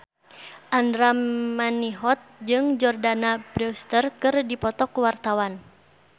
Andra Manihot jeung Jordana Brewster keur dipoto ku wartawan